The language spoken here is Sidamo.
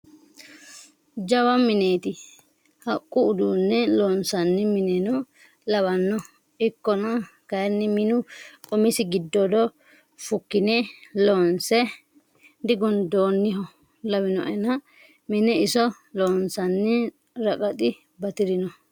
Jawa mineti haqqu uduune loonsanni mineno lawano ikkonna kayinni minu umisi giddodo fukkine loonse digundoniho lawinoenna mine iso loonsanni raqaxi batirino.